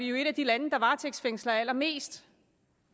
jo et af de lande der varetægtsfængsler allermest